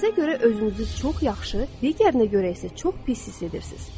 Birinizə görə özünüzü çox yaxşı, digərinə görə isə çox pis hiss edirsiniz.